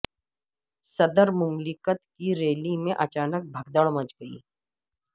صدر مملکت کی ریلی میں اچانک بھگدڑ مچ گئی